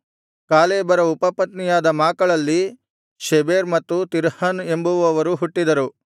ಕಾಲೇಬನ ಉಪಪತ್ನಿಯಾದ ಮಾಕಳಲ್ಲಿ ಶೆಬೆರ್ ಮತ್ತು ತಿರ್ಹನ್ ಎಂಬುವವರು ಹುಟ್ಟಿದರು